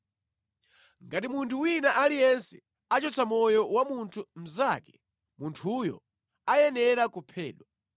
“ ‘Ngati munthu wina aliyense achotsa moyo wa munthu mnzake, munthuyo ayenera kuphedwa.